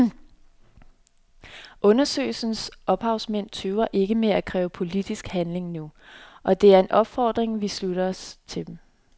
Undersøgelsens ophavsmænd tøver ikke med at kræve politisk handling nu, og det er en opfordring vi tilslutter os.